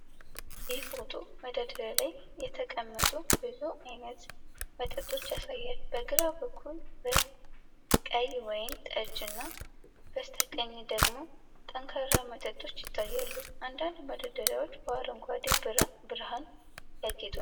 ይህ ፎቶ መደርደሪያ ላይ የተቀመጡ ብዙ ዓይነት መጠጦችን ያሳያል። በግራ በኩል ቀይ ወይን ጠጅ እና በስተቀኝ ደግሞ ጠንካራ መጠጦች ይታያሉ። አንዳንድ መደርደሪያዎች በአረንጓዴ ብርሃን ያጌጡ ናቸው።